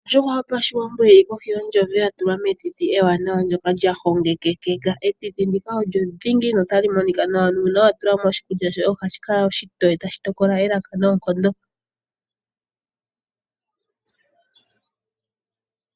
Ondjuhwa yopashiwambo yili kohi yo ntsoye, oya tulwa metiti ewananwa , ndyoka lya hongekekeka. Etiti ndika olyo dhingi no tali monika nawa , nuuna wa tula mo oshikulya shoye ohashi kala oshitoye, tashi tokola elaka noonkondo.